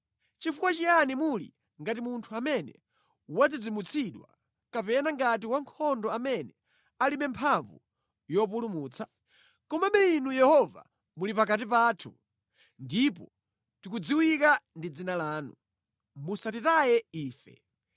Chifukwa chiyani muli ngati munthu amene wadzidzimutsidwa, kapena ngati wankhondo amene alibe mphamvu yopulumutsa? Komabe Inu Yehova, muli pakati pathu, ndipo tikudziwika ndi dzina lanu; musatitaye ife!”